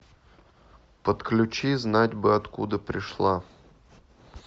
подключи знать бы откуда пришла